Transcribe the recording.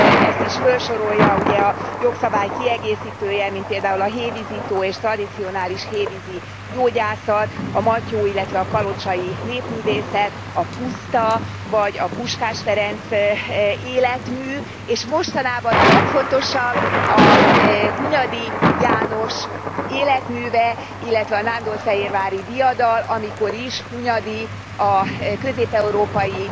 Ezt is fölsorolja ugye a jogszabály kiegészítője, mint például a hévízi tó és tradicionális hévízi gyógyászat, a matyó illetve a kalocsai népművészet, a Puszta vagy a Puskás Ferenc életmű, és mostanában a legfontosabb a Hunyadi János életműve, illetve a nándorfehérvári diadal, amikor is Hunyadi a közép európai